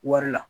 Wari la